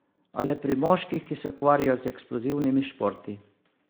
A le pri moških, ki se ukvarjajo z eksplozivnimi športi.